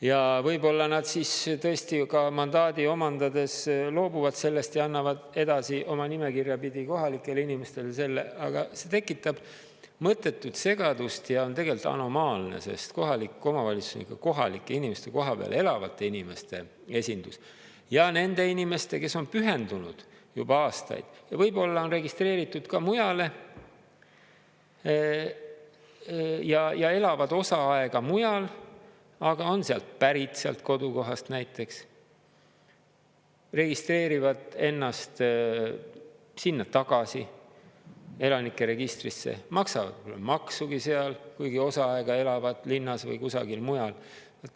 Ja võib-olla nad tõesti mandaadi omandades loobuvad sellest ja annavad edasi oma nimekirja pidi kohalikele inimestele selle, aga see tekitab mõttetut segadust ja on tegelikult anomaalne, sest kohalik omavalitsus on ikka kohalike inimeste, kohapeal elavate inimeste esindus ja nende inimeste, kes on pühendunud juba aastaid ja võib-olla on registreeritud ka mujale ja elavad osa aega mujal, aga on sealt pärit, sealt kodukohast näiteks, registreerivad ennast sinna tagasi elanike registrisse, maksavad maksugi seal, kuigi osa aega elavad linnas või kusagil mujal.